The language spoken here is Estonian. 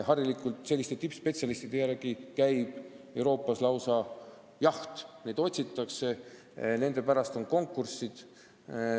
Harilikult käib sellistele tippspetsialistidele Euroopas lausa jaht, neid otsitakse, seal on konkurents.